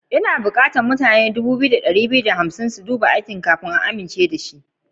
Ina bukatan mutane dubu biyu da dari biyu da hamsin su duba binciken aikina domin a amince da shi.